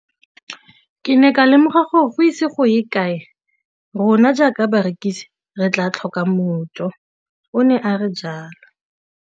Ke ne ka lemoga gore go ise go ye kae rona jaaka barekise re tla tlhoka mojo, o ne a re jalo.